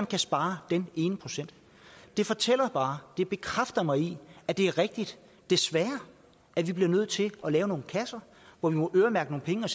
kan spare den ene procent det fortæller bare og det bekræfter mig i at det er rigtigt desværre at vi bliver nødt til at lave nogle kasser hvor vi må øremærke nogle penge